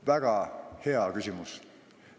Väga hea küsimus.